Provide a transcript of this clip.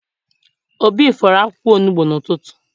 Obi fọrọ akwụkwọ onugbu n'ụtụtụ.